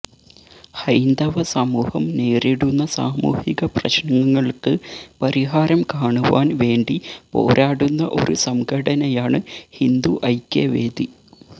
ഹൈന്ദവ സമൂഹം നേരിടുന്ന സാമുഹിക പ്രശ്നങ്ങൾക്ക് പരിഹാരം കാണുവാൻ വേണ്ടി പോരാടുന്ന ഒരു സംഘടനയാണ് ഹിന്ദു ഐക്യവേദി